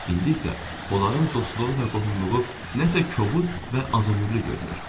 İndi isə onların dostluğu və qohumluğu nəsə kobud və azömürlü görünür.